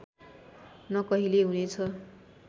न कहिल्यै हुनेछु